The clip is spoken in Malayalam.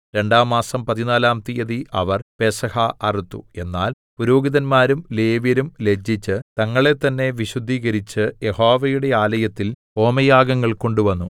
രണ്ടാം മാസം പതിനാലാം തീയതി അവർ പെസഹ അറുത്തു എന്നാൽ പുരോഹിതന്മാരും ലേവ്യരും ലജ്ജിച്ച് തങ്ങളെത്തന്നെ വിശുദ്ധീകരിച്ച് യഹോവയുടെ ആലയത്തിൽ ഹോമയാഗങ്ങൾ കൊണ്ടുവന്നു